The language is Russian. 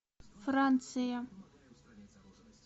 франция